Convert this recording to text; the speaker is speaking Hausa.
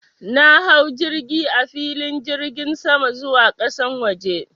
Na hau jirgi a filin jirgin sama zuwa ƙasan waje.